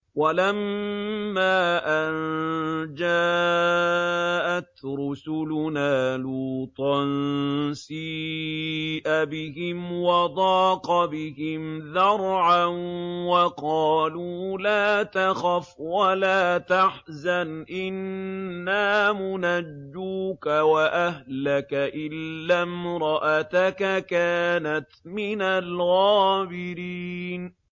وَلَمَّا أَن جَاءَتْ رُسُلُنَا لُوطًا سِيءَ بِهِمْ وَضَاقَ بِهِمْ ذَرْعًا وَقَالُوا لَا تَخَفْ وَلَا تَحْزَنْ ۖ إِنَّا مُنَجُّوكَ وَأَهْلَكَ إِلَّا امْرَأَتَكَ كَانَتْ مِنَ الْغَابِرِينَ